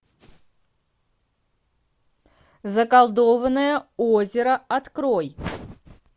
заколдованное озеро открой